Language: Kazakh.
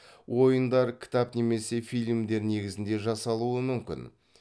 ойындар кітап немесе фильмдер негізінде жасалуы мүмкін